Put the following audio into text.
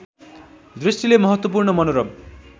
दृष्टिले महत्त्वपूर्ण मनोरम